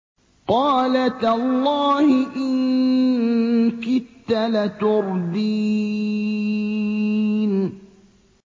قَالَ تَاللَّهِ إِن كِدتَّ لَتُرْدِينِ